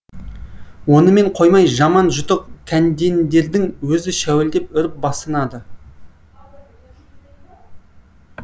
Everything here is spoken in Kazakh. онымен қоймай жаман жұтық кәндендердің өзі шәуілдеп үріп басынады